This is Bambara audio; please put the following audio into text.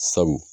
Sabu